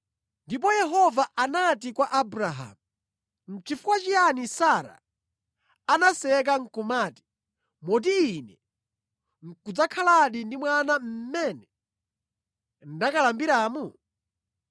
Ndipo Yehova anati kwa Abrahamu, “Nʼchifukwa chiyani Sara anaseka nʼkumati, ‘Moti ine nʼkudzakhaladi ndi mwana mmene ndakalambiramu?’